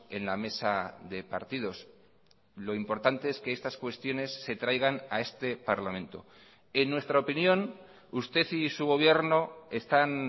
en la mesa de partidos lo importante es que estas cuestiones se traigan a este parlamento en nuestra opinión usted y su gobierno están